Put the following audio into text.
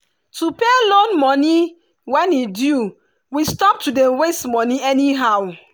to pay loan moni when e due we stop to dey waste moni anyhow.